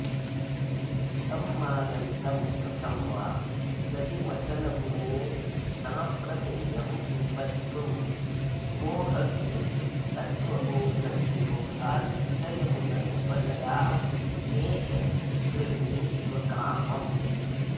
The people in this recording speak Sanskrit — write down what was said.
तं मानन्तं कथं वा दधिमथनगुणेनाप्रमेयं निबद्धुं मोहस्ते तत्त्वबोधाद्विलयमुपनयाम्येष गृह्णीष्व कामम्